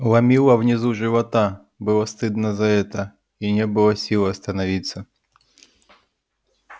ломило внизу живота было стыдно за это и не было сил остановиться